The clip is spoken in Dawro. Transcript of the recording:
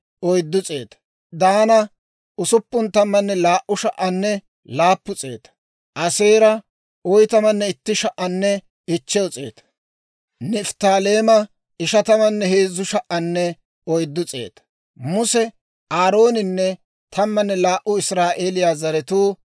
Olaw baanaw danddayiyaa attuma asatuu ubbay laatamu laytsanne hewaappe bollana de'iyaawanttu barenttu aawuwaa golliyaan golliyaan paydeteeddino.